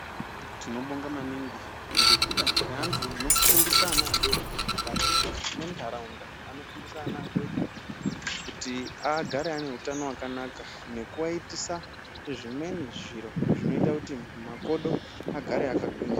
Tinobonga maningi ngekuda kweanhu anofundisa ana adoko mukati mwenharaunda anofundisa ana adoko kuti agare ane utano hwakanaka nekuaitisa zvimweni zviro zvinoita kuti makodo agare akagwinya.